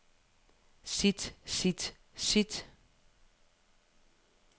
sit sit sit